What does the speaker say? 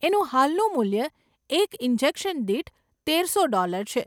એનું હાલનું મૂલ્ય એક ઇન્જેક્શન દીઠ તેરસો ડોલર છે.